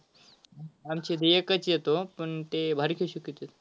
आमच्याडे एकच येतो, पण ते भारी coach शिकवत्यात.